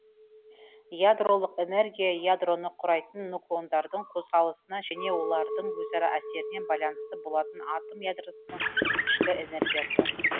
ядролық энергия ядроны құрайтын нуклондардың қозғалысына және олардың өзара әсеріне байланысты болатын атом ядросының ішкі энергиясы